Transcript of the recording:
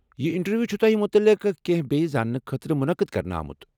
یہ انٹرویو چھ تۄہہِ متعلق کیٚنٛہہ بییٚہِ زانٛنہٕ خٲطرٕ منعقد کرنہٕ آمت۔